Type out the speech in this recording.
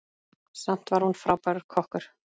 Samt var hún frábær kokkur.